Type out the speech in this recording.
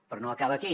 però no acaba aquí